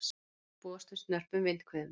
Búist við snörpum vindhviðum